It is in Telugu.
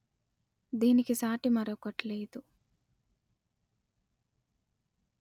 దీనికి సాటి మరియొకటి లేదు